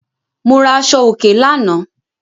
Mo ra aṣọòkè lánàá.